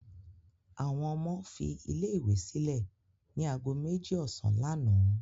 Àwọn ọmọ fi ilé-ìwé sílẹ̀ ní ago méjì ọ̀sán lánàá.